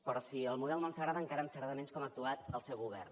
però si el model no ens agrada encara ens agrada menys com ha actuat el seu govern